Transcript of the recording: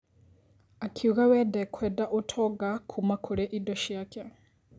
Akiuga we ndekwenda ũtonga kuuma kũrĩ indo ciake.